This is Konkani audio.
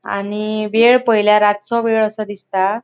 आणि वेळ पयल्या रातचो वेळ असो दिसता.